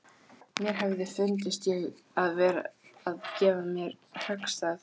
Mér hefði fundist ég vera að gefa á mér höggstað.